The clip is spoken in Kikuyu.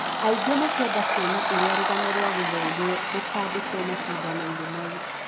Aingĩ makĩenda kuona ũrĩa rũgano rwa gũthomwo rũkandĩkwo macindano inĩ mau